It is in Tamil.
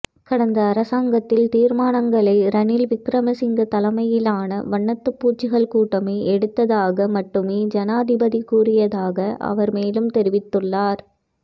கடந்த அரசாங்கத்தில் தீர்மானங்களை ரணில் விக்ரமசிங்க தலைமையிலான வண்ணாத்திப்பூச்சிகள் கூட்டமே எடுத்ததாக மட்டுமே ஜனாதிபதி கூறியதாக அவர் மேலும் தெரிவித்துள்ளார்